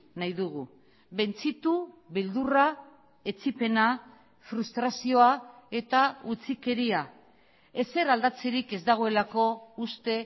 nahi dugu bentzitu beldurra etsipena frustrazioa eta utzikeria ezer aldatzerik ez dagoelako uste